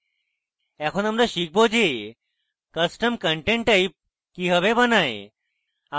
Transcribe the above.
এখন আমরা শিখব যে custom content type কিভাবে বানায়